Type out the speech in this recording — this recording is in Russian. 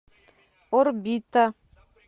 орбита